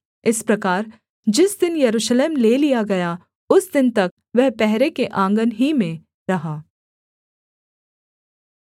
इस प्रकार जिस दिन यरूशलेम ले लिया गया उस दिन तक वह पहरे के आँगन ही में रहा